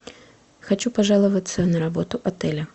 хочу пожаловаться на работу отеля